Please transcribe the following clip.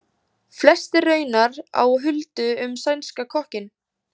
Flest er raunar á huldu um sænska kokkinn.